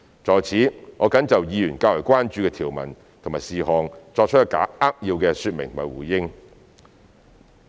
在此，我謹就議員較為關注的條文和事項作出扼要的說明和回應。